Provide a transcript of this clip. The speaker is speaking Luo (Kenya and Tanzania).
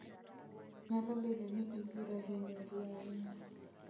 Nyalo bedo ni ibiro hinyori ahinya.